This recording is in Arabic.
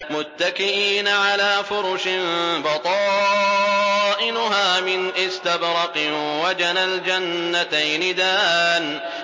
مُتَّكِئِينَ عَلَىٰ فُرُشٍ بَطَائِنُهَا مِنْ إِسْتَبْرَقٍ ۚ وَجَنَى الْجَنَّتَيْنِ دَانٍ